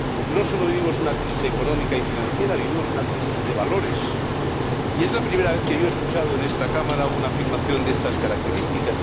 No sólo vivimos una crisis económica y financiera, vivimos una crisis de valores. Y es la primera vez que he escuchado en esta Cámara una afirmación de estas características